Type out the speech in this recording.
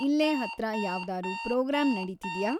ಇಲ್ಲೇ ಹತ್ರ ಯಾವ್ದಾರೂ ಪ್ರೋಗ್ರಾಂ ನಡೀತಿದ್ಯಾ